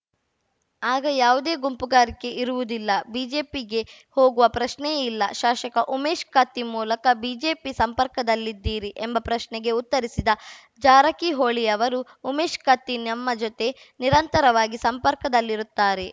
ಆಗ ಯಾವುದೇ ಗುಂಪುಗಾರಿಕೆ ಇರುವುದಿಲ್ಲ ಬಿಜೆಪಿಗೆ ಹೋಗುವ ಪ್ರಶ್ನೆಯೇ ಇಲ್ಲ ಶಾಶಕ ಉಮೇಶ್‌ ಕತ್ತಿ ಮೂಲಕ ಬಿಜೆಪಿ ಸಂಪರ್ಕದಲ್ಲಿದ್ದೀರಿ ಎಂಬ ಪ್ರಶ್ನೆಗೆ ಉತ್ತರಿಸಿದ ಜಾರಕಿಹೊಳಿ ಅವರು ಉಮೇಶ್‌ ಕತ್ತಿ ನಮ್ಮ ಜತೆ ನಿರಂತರವಾಗಿ ಸಂಪರ್ಕದಲ್ಲಿರುತ್ತಾರೆ